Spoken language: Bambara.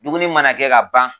Dumuni mana kɛ ka ban